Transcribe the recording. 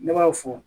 Ne b'aw fo